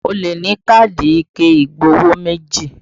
O lè ní káàdì ike igbowó méjì